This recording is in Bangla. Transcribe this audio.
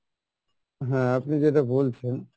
হ্যাঁ আপনি যেটা বলছেন